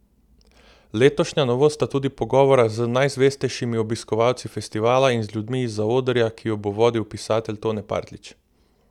Letošnja novost sta tudi pogovora z najzvestejšimi obiskovalci festivala in z ljudmi iz zaodrja, ki ju bo vodil pisatelj Tone Partljič.